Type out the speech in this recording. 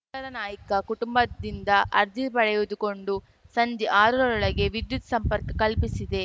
ಶೇಖರ ನಾಯ್ಕ ಕುಟುಂಬದಿಂದ ಅರ್ಜಿ ಪಡೆದುಕೊಂಡು ಸಂಜೆ ಆರರೊಳಗೆ ವಿದ್ಯುತ್‌ ಸಂಪರ್ಕ ಕಲ್ಪಿಸಿದೆ